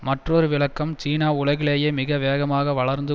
மற்றொரு விளக்கம் சீனா உலகிலேயே மிக வேகமாக வளர்ந்து